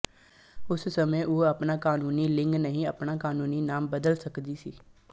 ਉਸ ਸਮੇਂ ਉਹ ਆਪਣਾ ਕਾਨੂੰਨੀ ਲਿੰਗ ਨਹੀਂ ਆਪਣਾ ਕਾਨੂੰਨੀ ਨਾਮ ਬਦਲ ਸਕਦੀ ਸੀ